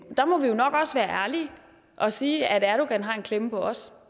der må vi jo nok også være ærlige og sige at erdogan har en klemme på os